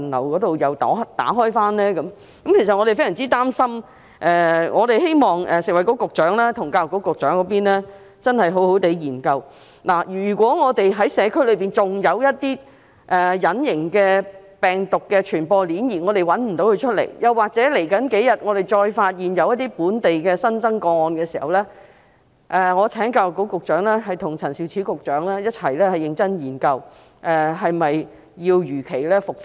我們感到非常擔心，希望食物及衞生局局長和教育局局長真的好好研究一下，如果社區內仍然存在隱形病毒傳播鏈，但我們找不到在哪裏，又或在接下來數天，再發現一些本地新增個案，這樣的話，我請教育局局長和陳肇始局長共同認真研究，是否要如期復課？